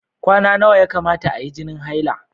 Kwana nawa ya kamata ayi jinin haila?